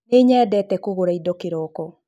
Nĩnyendete kũgũra ĩndo kĩroko